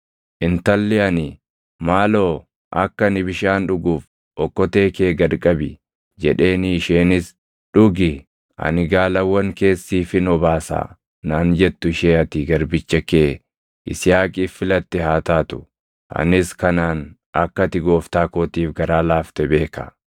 Intalli ani, ‘Maaloo akka ani bishaan dhuguuf okkotee kee gad qabi’ jedheenii isheenis, ‘Dhugi; ani gaalawwan kees siifin obaasaa’ naan jettu ishee ati garbicha kee Yisihaaqiif filatte haa taatu. Anis kanaan akka ati gooftaa kootiif garaa laafte beeka.”